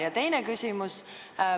Ja teine küsimus.